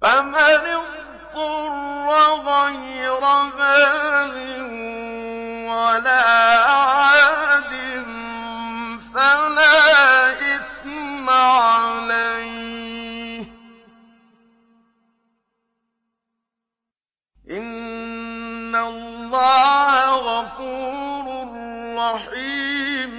فَمَنِ اضْطُرَّ غَيْرَ بَاغٍ وَلَا عَادٍ فَلَا إِثْمَ عَلَيْهِ ۚ إِنَّ اللَّهَ غَفُورٌ رَّحِيمٌ